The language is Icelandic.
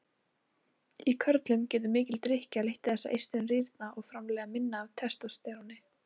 Í körlum getur mikil drykkja leitt þess að eistun rýrna og framleiða minna af testósteróni.